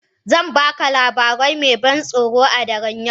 Zan baka labari mai ban tsoro a daren yau.